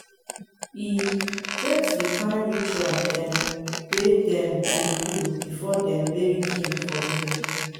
e get di kain ritual dem wey dem dey do before dem bury king for here.